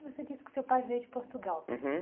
Você disse que seu pai veio de Portugal. Uhum.